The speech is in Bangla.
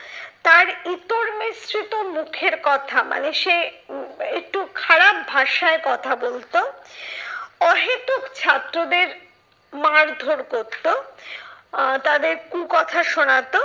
তার ইতর মিশ্রিত মুখের কথা মানে সে উম একটু খারাপ ভাষায় কথা বলতো। অহেতুক ছাত্রদের মারধর করতো আহ তাদের কুকথা শোনাতো।